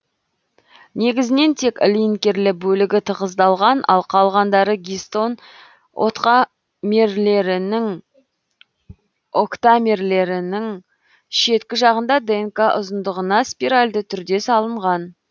негізінен тек линкерлі бөлігі тығыздалған ал калғандары гистон октамерлерінің шеткі жағында днқ ұзындығына спиральді түрде салынған